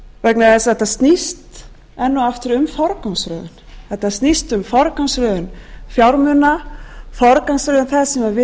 vegna þess að þetta snýst enn og aftur um forgangsröðun þetta snýst um forgangsröðun fjármuna forgangsröðun þess sem við raunverulega höfum að gefa í alþjóðasamfélaginu